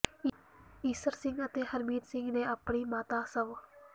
ਈਸਰ ਸਿੰਘ ਅਤੇ ਹਰਮੀਤ ਸਿੰਘ ਨੇ ਆਪਣੀ ਮਾਤਾ ਸਵ